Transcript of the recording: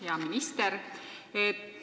Hea minister!